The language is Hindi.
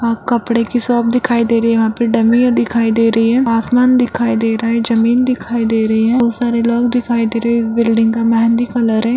वहाँ कपड़े की शॉप दिखाई दे रही है वहाँ पे डमीयां दिखाई दे रही हैआसमान दिखाई दे रहा है जमीन दिखाई दे रही है बहोत सारे लोग दिखाई दे रहे हैं इस बिल्डिंग का मेंहदी कलर है।